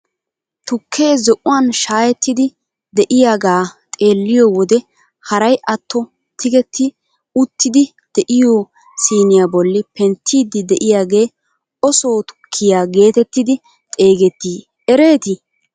Tukkee zo'uwaan shayettidi de'iyaagaa xeelliyoo wode haray atto tigetti uttidi de'iyoo siiniyaa bolli penttiidi de'iyaagee o soo tukkiyaagetettidi xeegettii eretii?